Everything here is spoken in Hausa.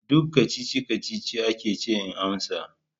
Duk kacici-kacici aka ce in amsa.